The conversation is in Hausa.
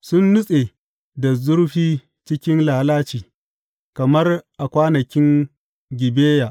Sun nutse da zurfi cikin lalaci, kamar a kwanakin Gibeya.